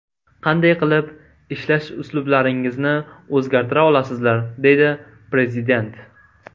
Qanday qilib ishlash uslublaringizni o‘zgartira olasizlar?”, deydi Prezident.